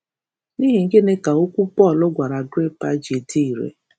N’ihi gịnị ka okwu Pọl gwara Agrịpa ji dị ire?